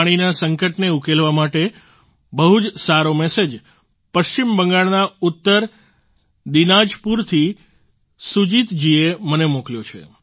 પાણીના સંકટને ઉકેલવા માટે એક બહુ જ સારો મેસેજ પશ્ચિમ બંગાળના ઉત્તર દીનાજપુર થી સુજીત જીએ મને મોકલ્યો છે